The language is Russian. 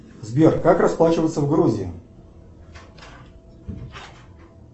сбер как расплачиваться в грузии